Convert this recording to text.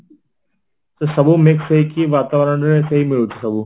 ସବୁ mix ହେଇକି ବାତାବରଣରେ ସେଇ ମିଳୁଛି ସବୁ